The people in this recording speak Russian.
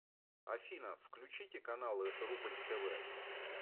афина включите каналы рубль тв